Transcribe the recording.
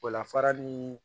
O la farali